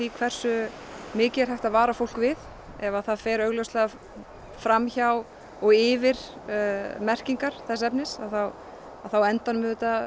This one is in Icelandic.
hversu mikið er hægt að vara fólk við ef það fer augljóslega fram hjá og yfir merkingar þess efnis þá á endanum